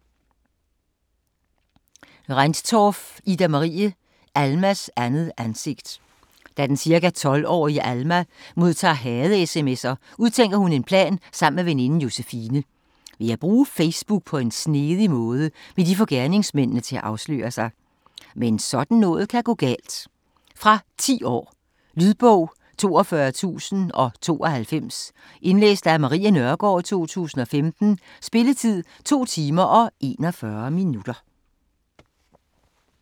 Rendtorff, Ida-Marie: Almas andet ansigt Da den ca. 12-årige Alma modtager hade-sms'er, udtænker hun en plan sammen med veninden Josefine. Ved at bruge Facebook på en snedig måde, vil de få gerningsmændene til at afsløre sig. Men sådan noget kan gå galt! Fra 10 år. Lydbog 42092 Indlæst af Marie Nørgaard, 2015. Spilletid: 2 timer, 41 minutter.